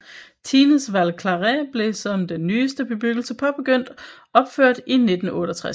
Tignes Val Claret blev som den nyeste bebyggelse påbegyndt opført i 1968